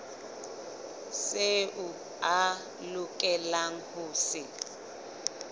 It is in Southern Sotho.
seo a lokelang ho se